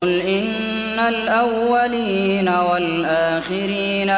قُلْ إِنَّ الْأَوَّلِينَ وَالْآخِرِينَ